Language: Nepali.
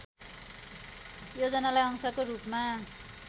योजनालाई अंशको रूपमा